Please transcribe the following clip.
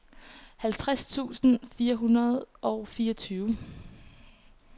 halvtreds tusind fire hundrede og fireogtyve